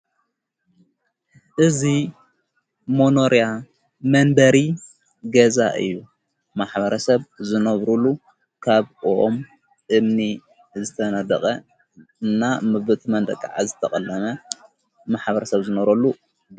እዙይ ሞኖርያ መንበሪ ገዛ እዩ ማሕበረ ሰብ ዘነብሩሉ ካብኦኦም እምኒ ዝተነድቐ እና ምብ ቲ መንደቃዓ ዝተቐለመ ማሕበረ ሰብ ዘነረሉ።